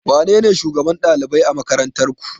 Wanene shugaban ɗalibai a makarantar ku